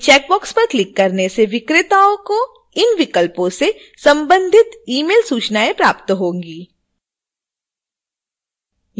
इन checkbox पर click करने से विक्रेता को इन विकल्पों से संबंधित ईमेल सूचनाएं प्राप्त होंगी